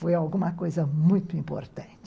Foi alguma coisa muito importante.